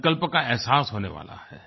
संकल्प का एहसास होने वाला है